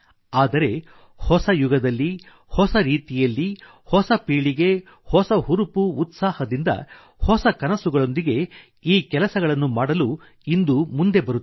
ಆದರೆ ಹೊಸ ಯುಗದಲ್ಲಿ ಹೊಸ ರೀತಿಯಲ್ಲಿ ಹೊಸ ಪೀಳಿಗೆ ಹೊಸ ಹುರುಪು ಉತ್ಸಾಹದಿಂದ ಹೊಸ ಕನಸುಗಳೊಂದಿಗೆ ಈ ಕೆಲಸಗಳನ್ನು ಮಾಡಲು ಇಂದು ಮುಂದೆ ಬರುತ್ತಿದೆ